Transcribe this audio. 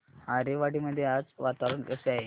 आरेवाडी मध्ये आज वातावरण कसे आहे